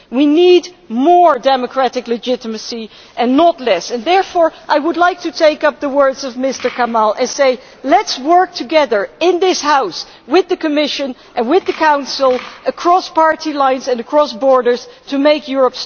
We need more democratic legitimacy, not less. Therefore, I would like to take up the words of Mr Kamall and say Let us work together in this House, with the Commission and with the Council, across party lines and across borders, to make Europe stronger.